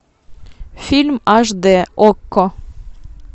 фильм аш д окко